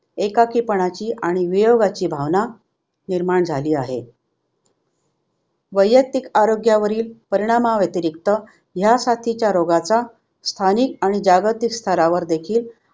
एकाकीपणाची आणि वियोगाची भावना निर्माण झाली आहे. वैयक्तिक आरोग्यावरील परिणामाव्यतिरिक्त ह्या साथीच्या रोगाचा स्थानिक आणि जागतिक स्तरावर देखील